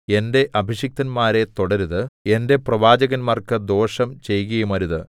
എന്റെ അഭിഷിക്തന്മാരെ തൊടരുത് എന്റെ പ്രവാചകർക്കു ദോഷം ചെയ്കയുമരുതു